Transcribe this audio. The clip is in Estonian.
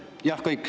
Ongi kõik.